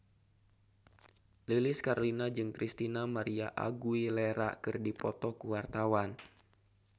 Lilis Karlina jeung Christina María Aguilera keur dipoto ku wartawan